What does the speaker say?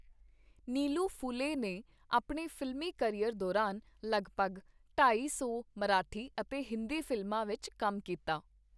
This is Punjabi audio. ਨੀਲੂ ਫੂਲੇ ਨੇ ਆਪਣੇ ਫ਼ਿਲਮੀ ਕਰੀਅਰ ਦੌਰਾਨ ਲਗਭਗ ਢਾਈ ਸੌ ਮਰਾਠੀ ਅਤੇ ਹਿੰਦੀ ਫਿਲਮਾਂ ਵਿੱਚ ਕੰਮ ਕੀਤਾ।